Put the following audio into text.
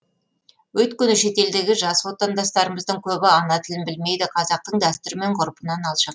өйткені шетелдегі жас отандастарымыздың көбі ана тілін білмейді қазақтың дәстүрі мен ғұрпынан алшақ